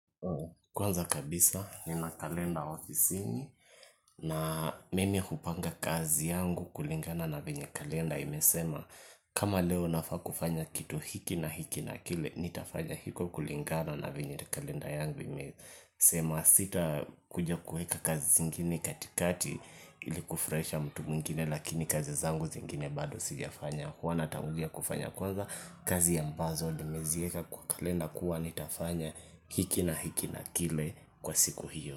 Kwanza kabisa nina kalenda ofisini na mimi hupanga kazi yangu kulingana na venye kalenda imesema kama leo nafaa kufanya kitu hiki na hiki na kile nitafanya hiko kulingana na venye kalenda yangu imesema sitakuja kueka kazi zingine katikati ili kufurahisha mtu mwingine lakini kazi zangu zingine bado sijafanya huwa natangulia kufanya kwanza kazi ambazo nimezieka kwa kalenda kuwa nitafanya hiki na hiki na kile kwa siku hiyo.